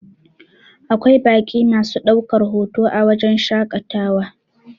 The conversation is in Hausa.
Akwai baƙi masu ɗaukar hoto a wajen shaƙatawa